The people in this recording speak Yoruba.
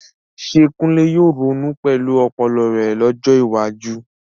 Ṣé Kunle yóò ronú pẹ̀lú ọpọlọ rẹ̀ lọ́jọ́ iwájú?